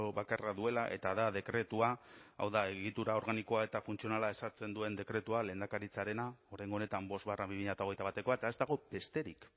bakarra duela eta da dekretua hau da egitura organikoa eta funtzionala ezartzen duen dekretua lehendakaritzarena oraingo honetan bi mila hogeita batekoa eta ez dago besterik